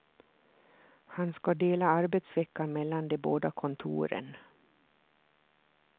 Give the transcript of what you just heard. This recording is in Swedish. Han ska dela arbetsveckan mellan de båda kontoren.